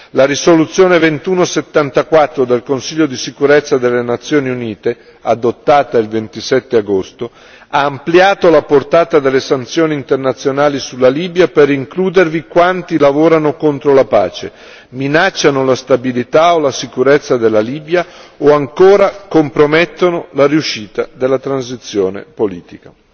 La risoluzione 2174 del Consiglio di sicurezza delle Nazioni Unite, adottata il 27 agosto, ha ampliato la portata delle sanzioni internazionali sulla Libia per includervi quanti lavorano contro la pace, minacciano la stabilità o la sicurezza della Libia o ancora compromettono la riuscita della transizione politica.